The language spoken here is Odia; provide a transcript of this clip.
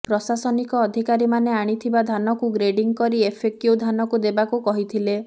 ପ୍ରଶାସନିକ ଅଧିକାରୀମାନେ ଆଣିଥିବା ଧାନକୁ ଗ୍ରେଡିଙ୍ଗ କରି ଏଫଏକୁ୍ୟ ଧାନକୁ ଦେବାକୁ କହିଥିଲେ